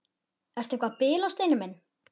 Ertu eitthvað að bilast, Steini minn?